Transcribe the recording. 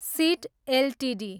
seat Ltd